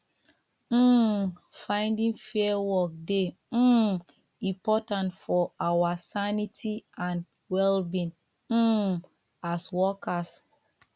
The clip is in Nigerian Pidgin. um finding fair work dey um important for our sanity and wellbeing um as workers